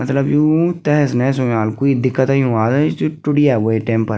मतलब यु तेहेस-नेहेस हुंयाल कुई दिक्कत अयुं वाल यी जु टूट गया वे टेम पर।